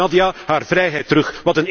Geef Nadia haar vrijheid terug!